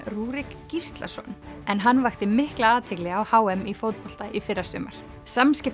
Rúrik Gíslason en hann vakti mikla athygli á h m í fótbolta í fyrrasumar